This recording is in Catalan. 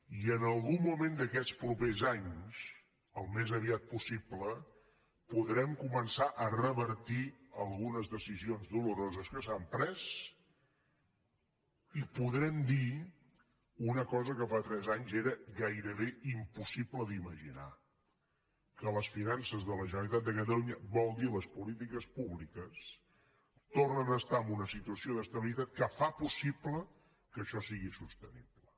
i en algun moment d’aquests propers anys al més aviat possible podrem començar a revertir algunes decisions doloroses que s’han pres i podrem dir una cosa que fa tres anys era gairebé impossible d’imaginar que les finances de la generalitat de catalunya vol dir les polítiques públiques tornen a estar en una situació d’estabilitat que fa possible que això sigui sostenible